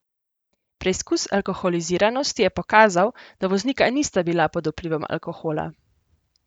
Preizkus alkoholiziranosti je pokazal, da voznika nista bila pod vplivom alkohola.